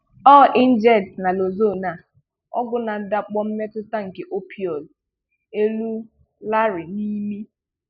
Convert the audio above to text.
Ọ injects naloxone, a ọgwụ na ndàkpò mmetù nke opioids, elu Larry n’imi.